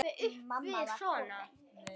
Mamma var komin.